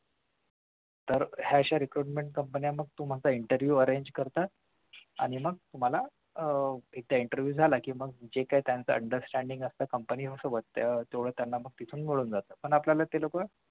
तर ह्या अश्या recruitment company मग तुमचा interview arrange करतात आणि मग तुम्हाला आह एकदा interview झाला कि मग जे काही त्यांच understanding असतं company सोबत त्यांना तिथून मिळून जातं पण आपल्याला ती लोकं